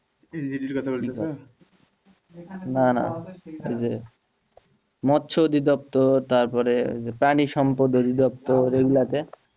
না না ওই যে মৎস্য দপ্তর তারপর ওই যে প্রাণিসম্পদ দপ্তর ঐগুলোতে,